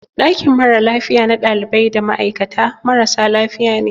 Ɗakin mara lafiya na ɗalibai da ma'aikata marasa lafiya ne.